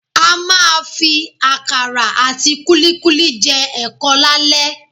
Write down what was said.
A máa fi àkàrà àti kúlíkúlí jẹ ẹ̀kọ lálẹ́